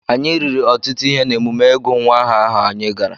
Anyị riri ọtụtụ ihe n’emume ịgụ nwa aha ahụ anyị gara.